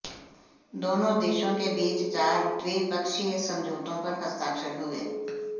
दोनों देशों के बीच चार द्विपक्षीय समझौतों पर हस्ताक्षर हुए